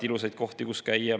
Ilusaid kohti, kus käia, meil on.